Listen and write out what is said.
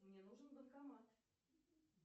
мне нужен банкомат